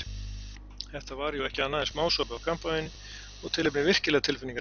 Þetta var jú ekki annað en smásopi af kampavíni og tilefnið virkilega tilfinningaríkt.